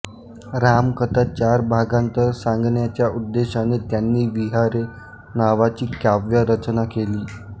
रामकथा चार भागांत सांगण्याच्या उद्देशाने त्यांनी विहारे नावाची काव्यरचना केली